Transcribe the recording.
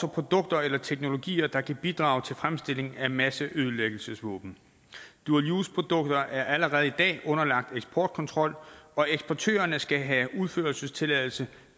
produkter eller teknologier der kan bidrage til fremstilling af masseødelæggelsesvåben dual use produkter er allerede i dag underlagt eksportkontrol og eksportørerne skal have udførselstilladelse